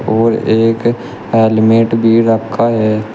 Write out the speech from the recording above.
और एक हेलमेट भी रखा है।